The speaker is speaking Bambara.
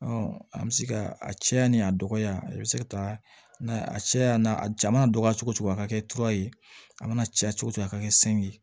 an bɛ se ka a cɛya ni a dɔgɔya i bɛ se ka taa a cɛya n'a ja mana dɔgɔya cogo cogo a ka kɛ tura ye a mana caya cogo cogo a ka kɛ san ye